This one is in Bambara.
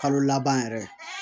Kalo laban yɛrɛ